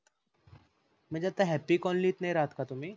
म्हणजे आता happy colony त नाही राहत का तुम्ही?